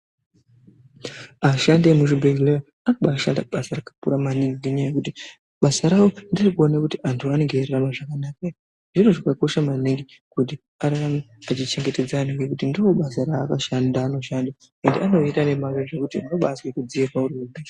Ashandi emuzvibhedhlera anobashanda basa rakakura maningi ngenyaya yekuti basa ngere kuona kuti antu anenge veirarama zvakanaka ere, zviro zvinokosha maningi kuti ararame echichengetedza anhu ngekuti ndiro basa raanoshanda ende anorida nemazvo zvekuti unobazwe kudziirwa uri wega.